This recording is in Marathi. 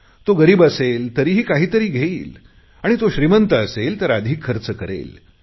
तो गरीब असेल तरीही काहीतरी घेईल तो श्रीमंत असेल तर तो अधिक खर्च करेल